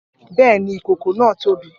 Bẹ́ẹ̀ ni, ìkòkò náà tóbi